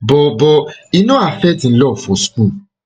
but but e no affect im love for school